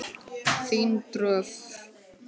Þín Dröfn.